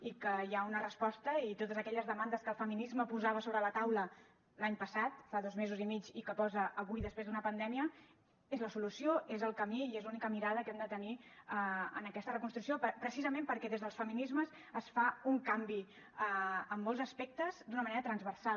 i que hi ha una resposta i totes aquelles demandes que el feminisme posava sobre la taula l’any passat fa dos mesos i mig i que posa avui després d’una pandèmia és la solució és el camí i és l’única mirada que hem de tenir en aquesta reconstrucció precisament perquè des dels feminismes es fa un canvi en molts aspectes d’una manera transversal